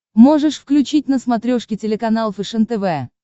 можешь включить на смотрешке телеканал фэшен тв